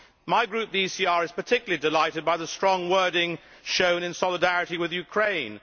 My Group, the ECR, is particularly delighted by the strong wording shown in solidarity with Ukraine.